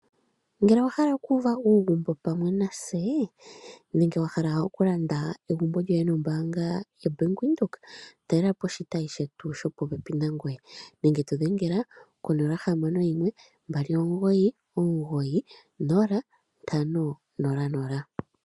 Ngele owahala oku uva uugumbo pamwe natse nenge wahala okulanda egumbo lyoye nombaanga yoBank Windhoek talela po oshitayi shetu shopo pepi nangoye nenge tu dhengela ko 0612990500.